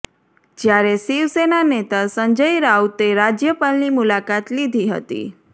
જ્યારે શિવસેના નેતા સંજય રાઉતે રાજ્યપાલની મુલાકાત લીધી હતી